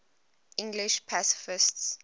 english pacifists